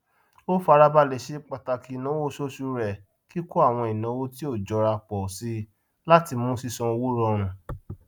ó farabalẹ ṣe pàtàkì ináwó oṣooṣù rẹ kíkó àwọn ìnáwó tí ó jọra pọ síi láti mú sísan owó rọrùn